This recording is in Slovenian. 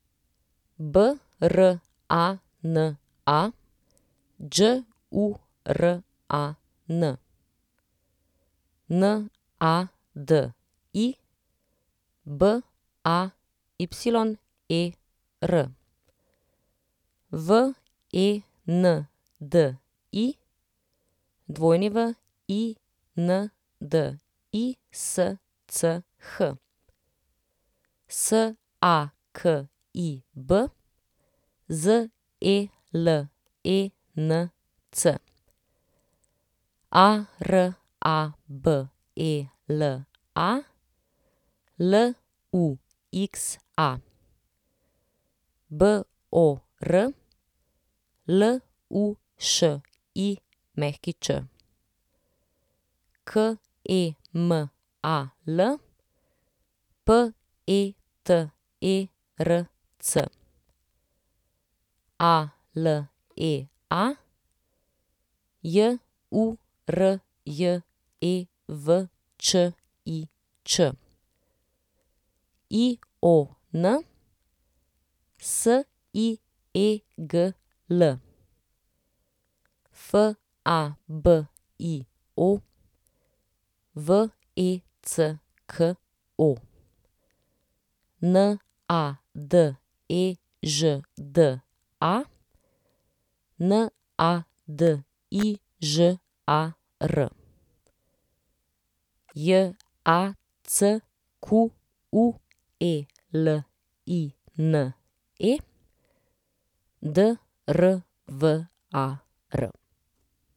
Brana Đuran, Nadi Bayer, Vendi Windisch, Sakib Zelenc, Arabela Luxa, Bor Lušić, Kemal Peterc, Alea Jurjevčič, Ion Siegl, Fabio Vecko, Nadežda Nadižar, Jacqueline Drvar.